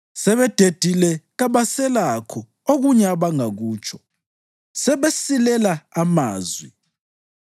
Sebededile kabaselakho okunye abangakutsho; sebesilela amazwi.